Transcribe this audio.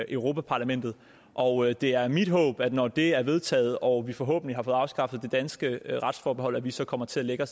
europa parlamentet og det er mit håb at vi når det er vedtaget og vi forhåbentlig har fået afskaffet det danske retsforbehold så kommer til at